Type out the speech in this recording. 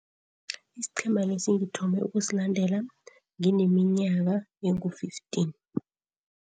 Isiqhema lesi ngithome ukusilandela ngineminyaka engu-fifteen.